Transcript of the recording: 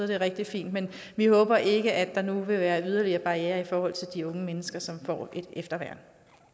det er rigtig fint men vi håber ikke at der nu vil være yderligere barrierer i forhold til de unge mennesker som får et efterværn